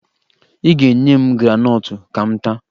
Ị ga-enye m graanọtụ ka m taa